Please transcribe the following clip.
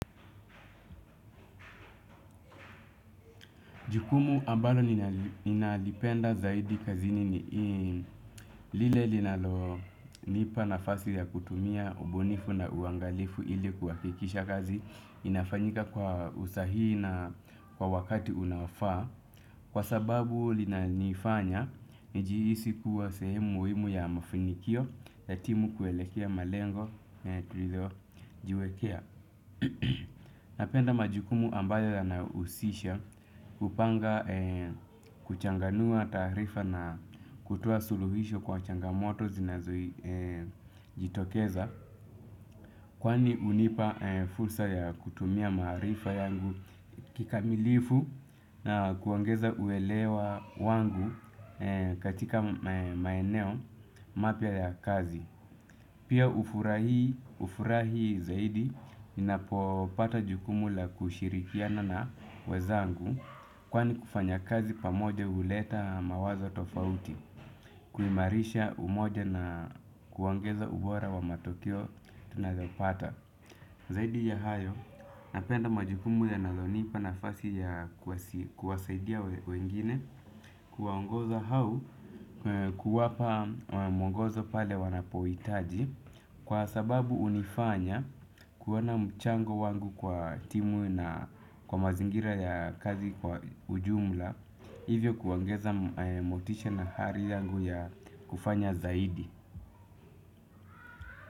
Jukumu ambalo ninalipenda zaidi kazini ni lile linalonipa nafasi ya kutumia ubunifu na uangalifu ili kuhakikisha kazi inafanyika kwa usahihi na kwa wakati unaofaa. Kwa sababu linanifanya, nijihisi kuwa sehemu muhimu ya mafunikio ya timu kuelekea malengo yenye tulio jiwekea. Napenda majukumu ambayo yanayohusisha kupanga, kuchanganua taarifa na kutoa suluhisho kwa changamoto zinazojitokeza. Kwani hunipa fursa ya kutumia maarifa yangu kikamilifu na kuongeza uelewa wangu katika maeneo mapya ya kazi. Pia hufurahi zaidi ninapopata jukumu la kushirikiana na wenzangu kwani kufanya kazi pamoja huleta mawazo tofauti, kuimarisha umoja na kuongeza ubora wa matekeo tunazopata. Zaidi ya hayo, napenda majukumu yanayonipa nafasi ya kuwasaidia wengine kuwaongoza au kuwapa mwongozo pale wanapohitaji, kwa sababu hunifanya kuona mchango wangu kwa timu na kwa mazingira ya kazi kwa ujumla. Hivyo kuongeza motisha na ari yangu ya kufanya zaidi.